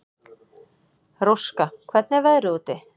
Róska, hvernig er veðrið úti?